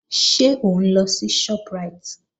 Ṣé òun lọ sí Shoprite?